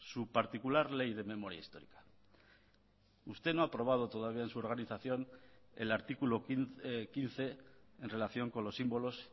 su particular ley de memoria histórica usted no ha aprobado todavía en su organización el artículo quince en relación con los símbolos